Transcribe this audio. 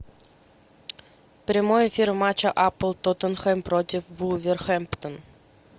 прямой эфир матча апл тоттенхэм против вулверхэмптон